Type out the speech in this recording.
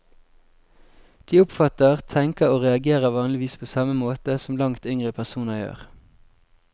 De oppfatter, tenker og reagerer vanligvis på samme måte som langt yngre personer gjør.